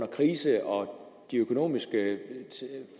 krise og de økonomiske